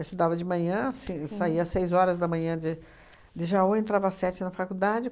Eu estudava de manhã, sim saía seis horas da manhã de de Jaú, entrava às sete na faculdade.